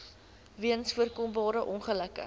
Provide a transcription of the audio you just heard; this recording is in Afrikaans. weens voorkombare ongelukke